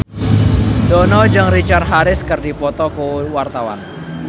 Dono jeung Richard Harris keur dipoto ku wartawan